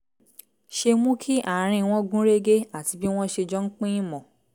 ṣe mú kí àárín wọn gún régé àti bí wọ́n ṣe jọ ń pín ìmọ̀